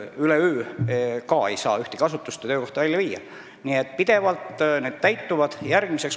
Üleöö ei saa ühtegi asutust ega tegevust välja viia, aga eesmärgid täituvad pidevalt.